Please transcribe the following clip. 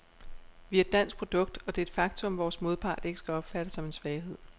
Vi er et dansk produkt, og det er et faktum, vores modpart ikke skal opfatte som en svaghed.